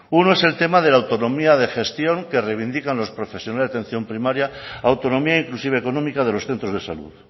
uno es el tema de la autonomía de gestión que reivindica los profesionales de atención primaria autonomía inclusive económica de los centros de salud